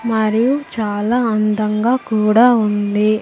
మరియు చాలా అందంగా కూడా ఉంది.